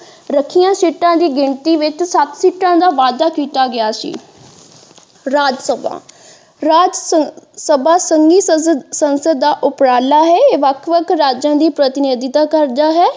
ਰੱਖੀਆਂ ਸੀਟਾਂ ਦੀ ਗਿਣਤੀ ਵਿੱਚ ਸੱਤ ਸੀਟਾਂ ਦਾ ਵਾਧਾ ਕੀਤਾ ਗਿਆ ਸੀ ਰਾਜਸਭਾ ਰਾਜਸਭਾ ਸੰਘੀ ਸੰਸਦ ਦਾ ਉਪਰਾਲਾ ਹੈ ਇਹ ਵੱਖ ਵੱਖ ਰਾਜਾਂ ਦੀ ਪ੍ਰਤੀਨਿਧਤਾ ਕਰਦਾ ਹੈ।